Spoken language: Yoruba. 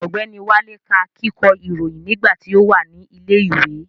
Ọ̀gbẹ́ni Wálé ká kíkọ́ ìròyìn nígbà tí ó wà ní ilẹ̀ ìwé